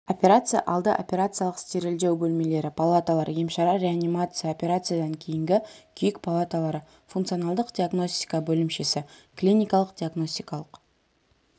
операция алды операциялық стерильдеу бөлмелері палаталар емшара реанимация операциядан кейінгі күйік палаталары функционалдық диагностика бөлімшесі клиникалық-диагностикалық